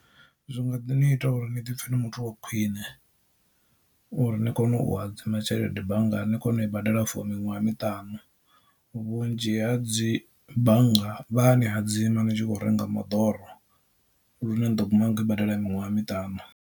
Zwi nga ḓi ni ita uri ni ḓipfhe na muthu wa khwiṋe uri ni kone u hadzima tshelede banngani ni kone u i badela for miṅwaha miṱanu vhunzhi ha dzi bannga vha a ni hadzima ni tshi khou renga moḓoro lune ni ḓo guma ni kho i badela miṅwaha miṱanu.